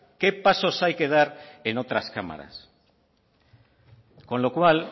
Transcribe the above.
qué pasos hay que dar en otras cámaras con lo cual